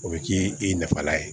O bɛ kɛ i nafala ye